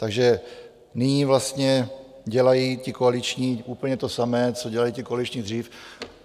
- Takže nyní vlastně dělají ti koaliční úplně to samé, co dělali ti koaliční dřív.